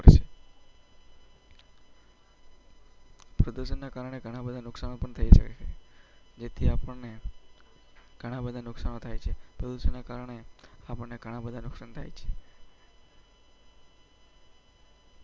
પ્રદર્શનના કારણે ઘણા બધા નુકસાન પણ થયું છે. એટલે આપને. બધા નુકસાન થાય છે તો શુંને કારણે આપણે ઘણા બધા.